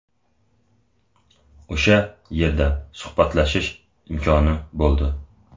O‘sha yerda suhbatlashish imkoni bo‘ldi.